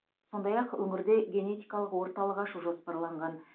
сондай ақ өңірде генетикалық орталық ашу жоспарланған